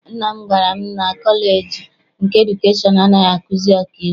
Nna m gwara m na kọleji nke edukeshọn anaghị akuzi ọkaiwu.